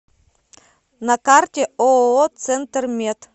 на карте ооо центр мед